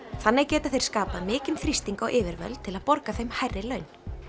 þannig geta þeir skapað mikinn þrýsting á yfirvöld til að borga þeim hærri laun